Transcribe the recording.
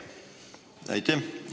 Aitäh!